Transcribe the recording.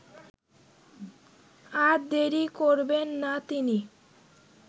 আর দেরি করবেন না তিনি